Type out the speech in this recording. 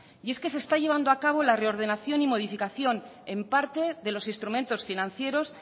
y es que se está llevando a cabo la reordenación y modificación en parte de los instrumentos financieros